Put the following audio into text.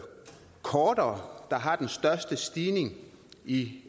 kortere der har den største stigning i